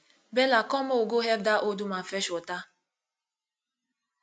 bella come make we go help dat old woman fetch water